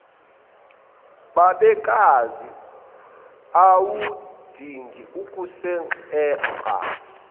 babekazi awudingi ukusinxenxa